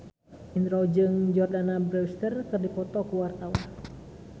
Indro jeung Jordana Brewster keur dipoto ku wartawan